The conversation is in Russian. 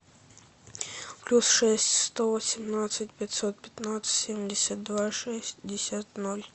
плюс шесть сто восемнадцать пятьсот пятнадцать семьдесят два шестьдесят ноль